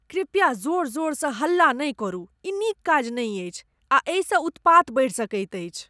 कृपया जोर जोरसँ हल्ला नहि करू, ई नीक काज नहि अछि आ एहिसँ उत्पात बढ़ि सकैत अछि।